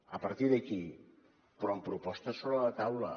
a partir d’aquí però amb propostes sobre la taula